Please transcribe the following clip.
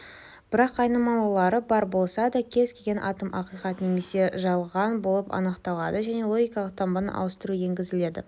бірақ айнымалылары бар болса да кез-келген атом ақиқат немесе жалған болып анықталады және логикалық таңбаны ауыстыру енгізіледі